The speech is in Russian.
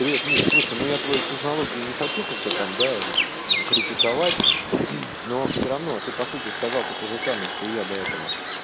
привет миш слушай ну я твою технологию не хочу как-то там да критиковать но всё равно ты по сути сказал то тоже самое что я до этого